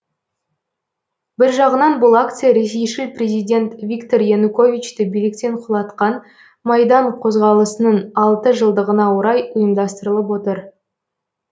бір жағынан бұл акция ресейшіл президент виктор януковичті биліктен құлатқан майдан қозғалысының алты жылдығына орай ұйымдастырылып отыр